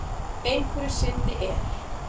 Einhverju sinni er